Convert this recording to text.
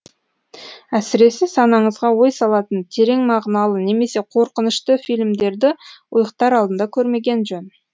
әсіресе санаңызға ой салатын терең мағыналы немесе қорқынышты фильмдерді ұйықтар алдында көрмеген жөн